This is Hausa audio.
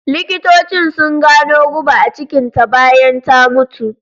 Likitocin su gano guba a cikin ta bayan ta mutu